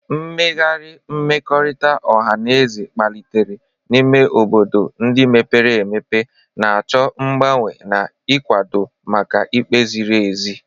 Mmegharị mmekọrịta ọha na eze kpalitere n'ime obodo ndị mepere emepe, na-achọ mgbanwe na ịkwado maka ikpe ziri ezi.